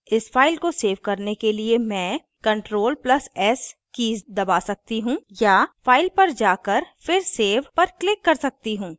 इस file को save करने के लिए मैं crtl + s कीज़ दबा सकती हूँ या file पर जाकर फिर save पर click कर सकती हूँ